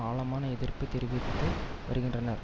ஆழமான எதிர்ப்பு தெரிவித்து வருகின்றனர்